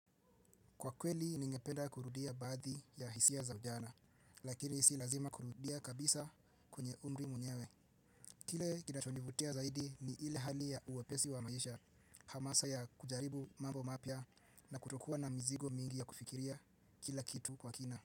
Kwa kweli ningependa kurudia baadhi ya hisia za ujana, lakini si lazima kurudia kabisa kwenye umri mwenyewe. Kile kinachonivutia zaidi ni ile hali ya wepesi wa maisha, hamasa ya kujaribu mambo mapya na kutokuwa na mizigo mingi ya kufikiria kila kitu kwa kina.